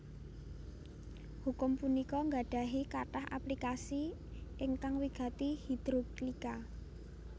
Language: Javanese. Hukum punika gadahi katah aplikasi ingkang wigati hidrolika